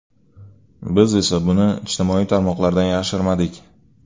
Biz esa buni ijtimoiy tarmoqlardan yashirmadik.